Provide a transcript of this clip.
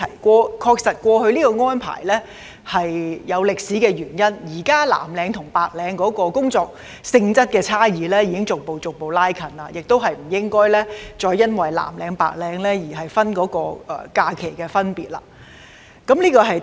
過去作出這項安排確實有歷史原因，但現時藍領與白領的工作性質差異已逐步拉近，我們亦不應該再因藍領和白領的分別而對他們的假期作出區分。